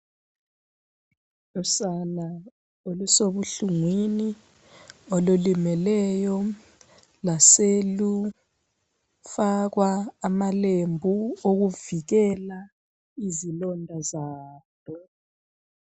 Usana olusebuhlungwini olulimeleyo lwaselufakwa amalembu okuvikela izilonda zalo.